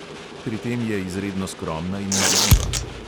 Pri tem je izredno skromna in marljiva.